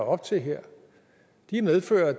op til her medfører at